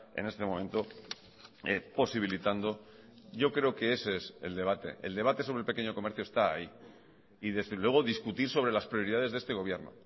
en este momento posibilitando yo creo que ese es el debate el debate sobre el pequeño comercio está ahí y desde luego discutir sobre las prioridades de este gobierno